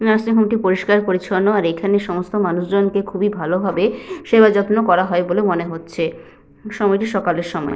Nursing হোমটি পরিষ্কার পরিচ্ছন্ন। আর এখানে সমস্ত মানুষজনকে খুবই ভালো ভাবে সেবাযত্ন করা হয় বলে মনে হচ্ছে। সময়টি সকালের সময়।